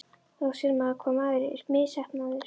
Þá sér maður hvað maður er misheppnaður.